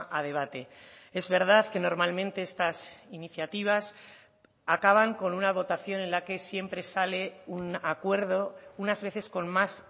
a debate es verdad que normalmente estas iniciativas acaban con una votación en la que siempre sale un acuerdo unas veces con más